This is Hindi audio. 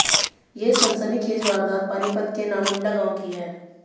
ये सनसनीखेज वारदात पानीपत के नामुंडा गांव की है